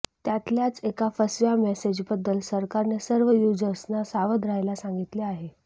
त्यातल्याच एका फसव्या मेसेजबद्दल सरकारने सर्व यूजर्सना सावध राहायला सांगितलं आहे